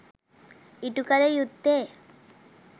ඉටු කළ යුත්තේ